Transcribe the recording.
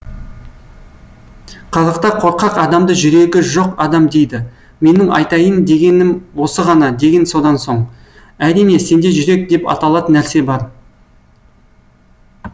қазақта қорқақ адамды жүрегі жоқ адам дейді менің айтайын дегенім осы ғана деген содан соң әрине сенде жүрек деп аталатын нәрсе бар